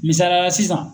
Misaliyala sisan